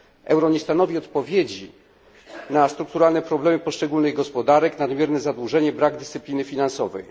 Euro nie stanowi odpowiedzi na strukturalne problemy poszczególnych gospodarek, nadmierne zadłużenie, brak dyscypliny finansowej.